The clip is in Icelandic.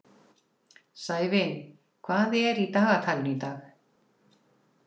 Sævin, hvað er í dagatalinu í dag?